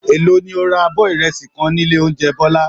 Èló ni o ra abọ́ ìrẹsì kan nílé oúnjẹ Bọ́lá?